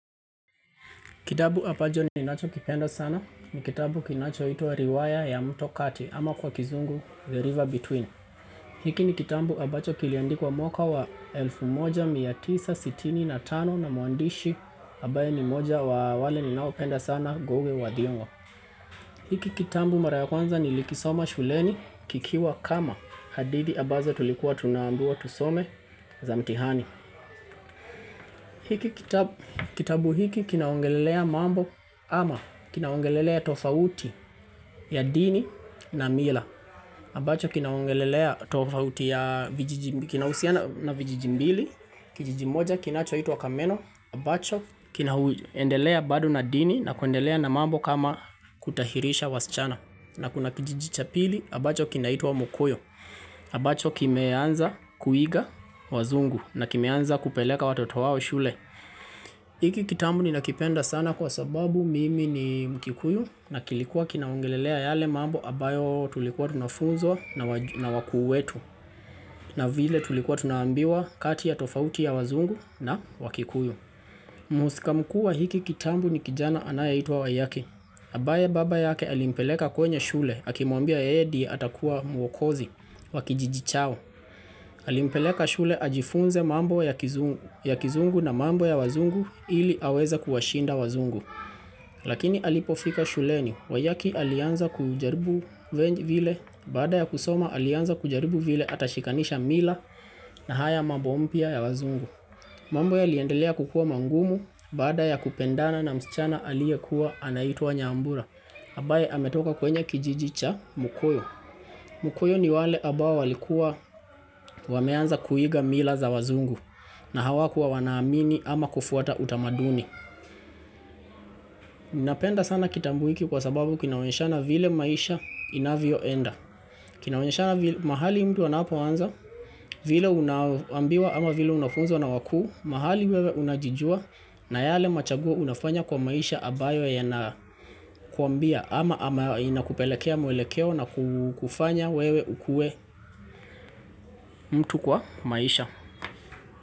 Kitabu ambacho ninachokipenda sana, ni kitabu kinachoitwa riwaya ya mto kati ama kwa kizungu The River Between. Hiki ni kitambu abacho kiliandikuwa mwaka wa 1965 na mwandishi ambaye ni mmoja wa wale ninaopenda sana Ngugi wa Thiong'o. Hiki kitabu mara ya kwanza nilikisoma shuleni kikiwa kama hadithi ambazo tulikuwa tunaambiwa tusome za mitihani. Hiki kitabu hiki kinaongelelea mambo ama kinaongelelea tofauti ya dini na mila. Ambacho kinaongelelea tofauti ya vijiji mbili, kijiji moja kinachoitwa kameno. Ambacho kinaendelea bado na dini na kuendelea na mambo kama kutahirisha wasichana. Na kuna kijiji cha pili, ambacho kinaitwa mukoyo. Ambacho kimeanza kuiga wazungu na kimeanza kupeleka watoto wao shule. Hiki kitambu ninakipenda sana kwa sababu mimi ni mkikuyu na kilikuwa kinaongelelea yale mambo abayo tulikuwa tunafunzwa na wakuu wetu na vile tulikuwa tunaambiwa kati ya tofauti ya wazungu na wakikuyu. Mhusika mkuu wa hiki kitambu ni kijana anayeitwa wayaki. Ambaye baba yake alimpeleka kwenye shule, akimwambia yeye ndiye atakuwa mwokozi, wa kijiji chao. Alimpeleka shule ajifunze mambo ya kizungu na mambo ya wazungu ili aweze kuwashinda wazungu. Lakini alipofika shuleni, wayaki alianza kujaribu vile baada ya kusoma alianza kujaribu vile atashikanisha mila na haya mambo mpya ya wazungu. Mambo yaliendelea kukuwa mangumu baada ya kupendana na msichana aliyekuwa anaitwa nyambura. Ambaye ametoka kwenye kijiji cha mukoyo. Mukoyo ni wale ambao walikuwa wameanza kuiga mila za wazungu na hawakuwa wanaamini ama kufuata utamaduni. Napenda sana kitambu hiki kwa sababu kinaonyeshana vile maisha inavyoenda. Kinaonyeshana mahali mtu anapoanza vile unaambiwa ama vile unafunzwa na wakuu. Mahali wewe unajijua na yale machaguo unafanya kwa maisha ambayo yanakuambia ama ama inakupelekea mwelekeo na kukufanya wewe ukuwe mtu kwa maisha.